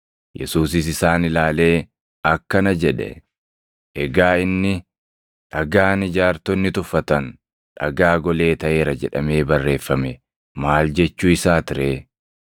Yesuusis isaan ilaalee, akkana jedhe; “Egaa inni, “ ‘Dhagaan ijaartonni tuffatan dhagaa golee taʼeera jedhamee barreeffame maal jechuu isaati ree’ + 20:17 \+xt Far 118:22\+xt* ?